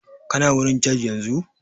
Kana wurin jaj yanzu?